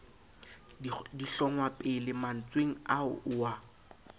dihlongwapele mantsweng ao o a